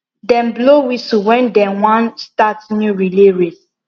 dem blow whistle when dem wan start new relay